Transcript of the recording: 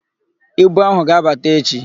Ibu áhụ̀ ga-abata echi.